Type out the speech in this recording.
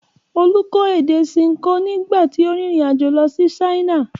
Olú kọ́ èdè Ṣinkó nígbà tí ó rìnrìn-àjò lọ sí China.